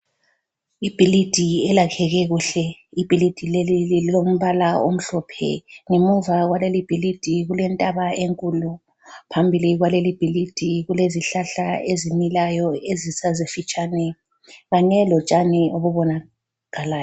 Ibhilidi elakheke kuhle, ibhilidi leli lilombala omhlophe ngemuva kwalelibhilidi kulentaba enkulu phambili kwalelibhilidi kulezihlahla ezimilayo ezisazifitshane kanye lotshani obubonakalayo.